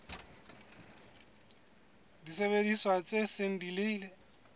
disebediswa tse seng di ile